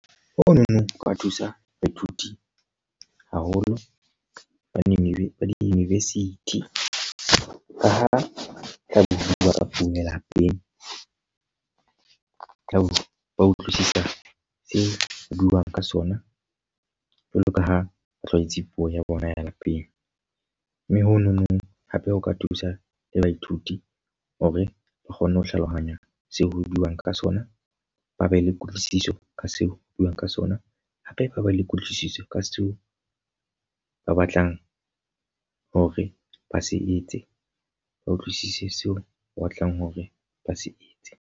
O no no o ka thusa baithuti haholo ba di-university. Ka ha tlabe ho bua ka puo ya lapeng, tlabe ba utlwisisa se buang ka sona jwalo ka ha ba tlwaetse puo ya bona ya lapeng. Mme honono hape ho ka thusa le baithuti hore ba kgone ho hlalohanya se ho buuwang ka sona. Ba be le kutlwisiso ka seo buang ka sona, hape ba ba le kutlwisiso ka seo ba batlang hore ba se etse. Ba utlwisise seo o batlang hore ba se etse.